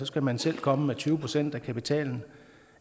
skal man selv komme med tyve procent af kapitalen